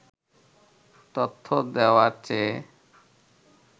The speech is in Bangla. তথ্য দেওয়ার চেয়ে